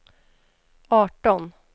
arton